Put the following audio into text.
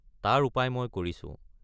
তাৰ উপায় মই কৰিছো।